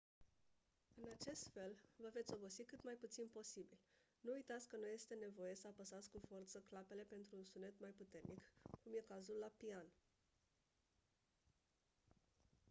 în acest fel vă veți obosi cât mai puțin posibil nu uitați că nu este nevoie să apăsați cu forță clapele pentru un sunet mai puternic cum e cazul la pian